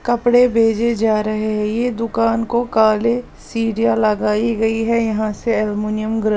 कपड़े भेजे जा रहे हैं यह दुकान को काले सीरिया लगाई गई है यहां से एलुमिनियम। --